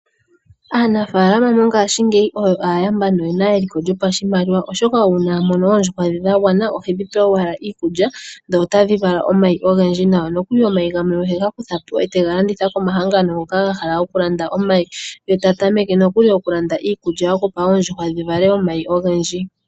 Aanafaalama mongashingeyi oyo aayamba noyena eliko lyopashimaliwa oshoka uuna a mono oondjuhwa dhe dha gwana ohedhi pe owala iikulya dho otadhi vala omayi ogendji nawa nokuli omayi gamwe ohega kuthapo e tega landitha komahangano ngoka ga hala oku landa omayi ye ta tameke nokuli oku landa iikulya yokupa oondjuhwa dhi vale omayi ogendji.